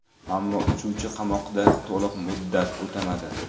Ammo uchuvchi qamoqda to‘liq muddat o‘tamadi.